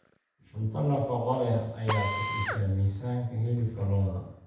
Cunto nafaqo leh ayaa kordhisa miisaanka hilibka lo'da.